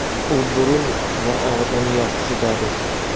u burun va og‘izni yopishi zarur.